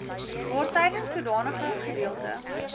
waartydens sodanige gedeelte